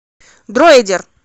дроидер